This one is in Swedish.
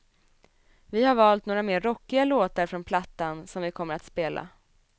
Vi har valt några mer rockiga låtar från plattan som vi kommer att spela.